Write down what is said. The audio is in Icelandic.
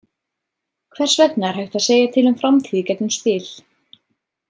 Hvers vegna er hægt að segja til um framtíð í gegnum spil.